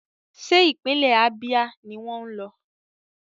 Ṣé ìpínlẹ̀ Ábíà ni wọ́n ń lọ?